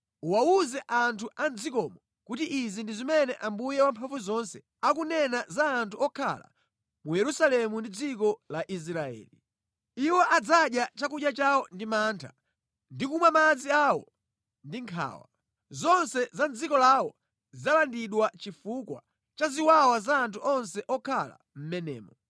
Uwawuze anthu a mʼdzikomo kuti izi ndi zimene Ambuye Wamphamvuzonse akunena za anthu okhala mu Yerusalemu ndi dziko la Israeli: Iwo adzadya chakudya chawo ndi mantha ndi kumwa madzi awo ndi nkhawa. Zonse za mʼdziko lawo zidzalandidwa chifukwa cha ziwawa za anthu onse okhala mʼmenemo.